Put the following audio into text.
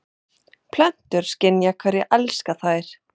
Plöntur skynja hverjir elska þær